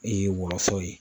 woloso ye.